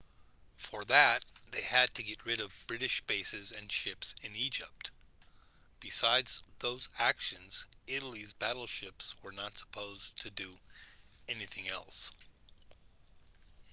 for that they had to get rid of british bases and ships in egypt besides those actions italy's battleships were not supposed to do anything else